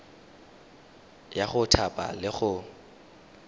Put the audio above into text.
ya go thapa le go